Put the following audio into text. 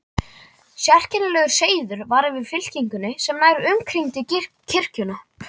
Sérkennilegur seiður var yfir fylkingunni sem nær umkringdi kirkjuna.